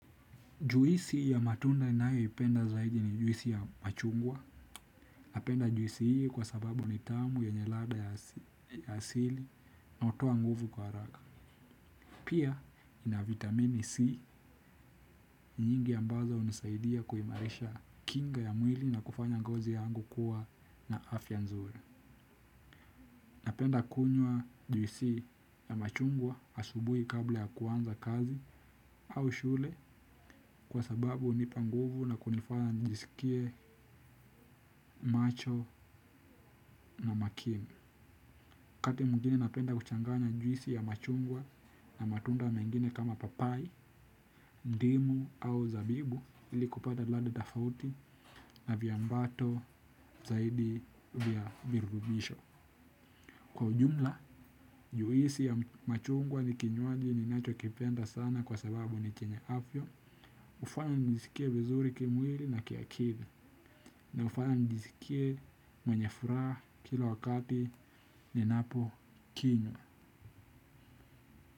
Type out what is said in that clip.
Juisi ya matunda ninayo ipenda zaidi ni juisi ya machungwa napenda juisi hii kwa sababu ni tamu yenye lada ya sili na utoa nguvu kwa raka. Pia ina vitamini C nyingi yambazo unisaidia kuimarisha kinga ya mwili na kufanya ngozi yangu kuwa na afya nzuri. Napenda kunywa juisi ya machungwa asubuhi kabla ya kuanza kazi au shule kwa sababu unipanguvu na kunifanya njisikie macho na makini. Wakati mgine napenda kuchanganya juisi ya machungwa na matunda mengine kama papai, dimu au zabibu ili kupata lada tofauti na vyambato zaidi vyavirubisho. Kwa jumla, juisi ya machungwa ni kinyoaji ninacho kipenda sana kwa sababu ni chenye afya. Ufanya nijisikie vizuri kimwili na kiakili. Na ufanya nijisikie mwenye furaha kila wakati ninapo kinyo.